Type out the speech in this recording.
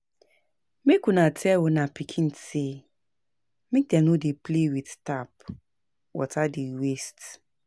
Make una tell una pikin sey make dem no play with tap, water dey waste.